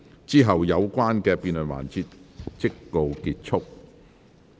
之後有關的辯論環節即告結束。